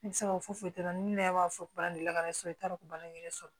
Ne bɛ se ka fɔ foyi tɛ ne yɛrɛ b'a fɔ ba de la ne sɔrɔ i t'a dɔn baɲini yɛrɛ sɔrɔ